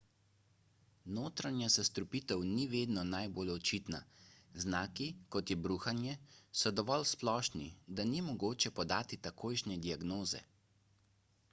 notranja zastrupitev ni vedno najbolj očitna znaki kot je bruhanje so dovolj splošni da ni mogoče podati takojšnje diagnoze